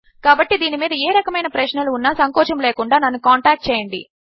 కాబట్టి దీని మీద ఏ రకమైన ప్రశ్నలు ఉన్నా సంకోచము లేకుండా నన్ను కాంటాక్ట్ చేయండి